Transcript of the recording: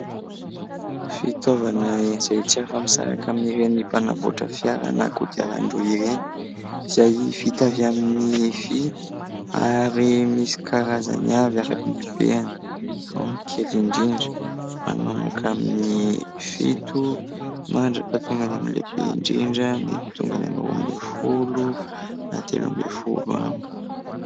Fitaovana izay tsy afa misaraka amin' ireny mpanamboatra fiara na kodiaran-droa ireny, izay vita avy amin'ny vy. Ary misy karazany avy araka ny habeany : ao ny kely indrindra manomboka amin'ny fito mandra-patongany amin'ny lehibe indrindra, mety tonga any amin'ny roa ambinifolo na telo ambinifolo any.